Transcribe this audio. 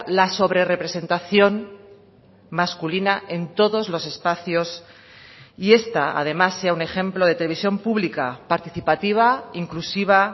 la sobre representación masculina en todos los espacios y esta además sea un ejemplo de televisión pública participativa inclusiva